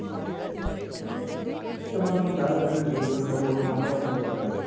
તમાર તો પણ ચાલ તમે તે river front બાજુ આંટો મારતા આવો ન તોય ચાલ હારું